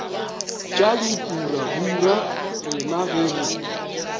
tša dipurabura rena ge re